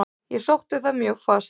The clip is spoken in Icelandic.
Ég sótti það mjög fast.